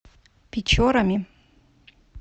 печорами